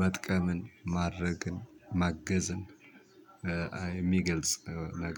መጥቀምን ማድረግን ማገዝን የሚገልጽ ነገር